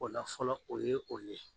O la fɔlɔ o ye o ye.